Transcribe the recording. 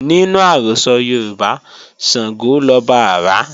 Nínú àrọ́sọ Yoruba, Sàngó lọba àrá